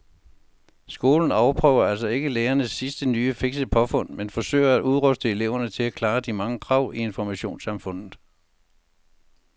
Skolen afprøver altså ikke lærernes sidste nye fikse påfund men forsøger at udruste eleverne til at klare de mange krav i informationssamfundet.